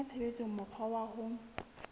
kenya tshebetsong mokgwa wa ho